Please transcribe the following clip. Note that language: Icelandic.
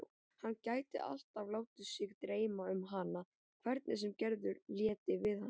Hann gæti alltaf látið sig dreyma um hana hvernig sem Gerður léti við hann.